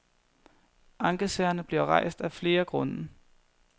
Ankesagerne bliver rejst af flere grunde.